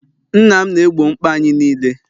nna m na-egbo mkpa anyị niile